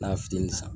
N'a fitini san